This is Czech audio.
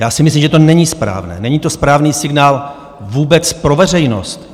Já si myslím, že to není správné, není to správný signál vůbec pro veřejnost.